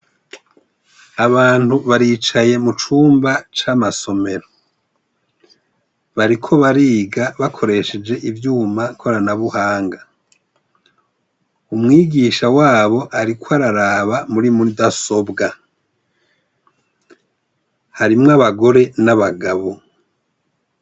Abantu baricaye mu cumba c'amasomero, bariko bariga bakoresheje ivyuma korana buhanga, umwigisha wabo ariko araraba muri mudasobwa, harimwo abagore n'abagabo.